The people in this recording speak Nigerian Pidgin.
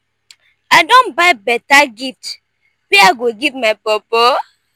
i don buy beta gift wey i go give my bobo.